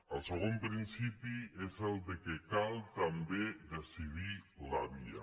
el segon principi és que cal també decidir la via